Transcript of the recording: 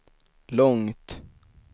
långt